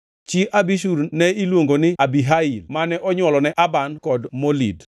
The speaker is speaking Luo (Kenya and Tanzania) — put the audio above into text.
Chi Abishur ne iluongo ni Abihail mane onywolone Aban kod Molid.